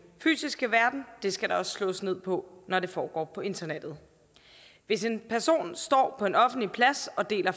fysiske verden skal der også slås ned på når det foregår på internettet hvis en person står på en offentlig plads og deler